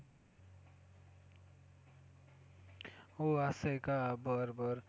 हो असं आहे का? बरं बरं